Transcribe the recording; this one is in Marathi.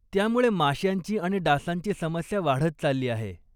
त्यामुळे माश्यांची आणि डासांची समस्या वाढत चालली आहे.